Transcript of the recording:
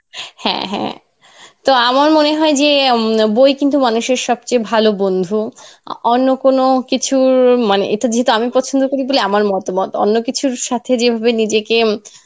হ্যাঁ হ্যাঁ তো আমার মনে হয় যে, ম বই কিন্তু মানুষের সবচেয়ে ভালো বন্ধু আহ অন্য কোনো কিছুর মানে এটা যেহেতু আমি পছন্ধ করি বলে আমার মতামত অন্য কিছুর সাথে যেভাবে নিজেকে ইম